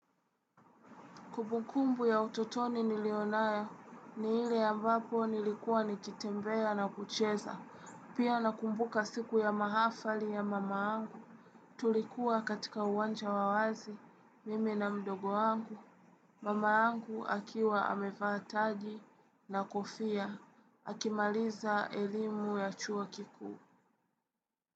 Kumbukumbu ya utotoni nilionayo, ni ile ambapo nilikuwa nikitembea na kucheza, pia nakumbuka siku ya mahafali ya mama angu. Tulikuwa katika uwanja wa wazi, mimi na mdogo angu. Mama yangu akiwa amevaa taji na kofia, akimaliza elimu ya chuo kikuu.